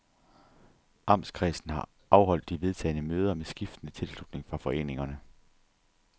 Amtskredsen har afholdt de vedtagne møder med skiftende tilslutning fra foreningerne.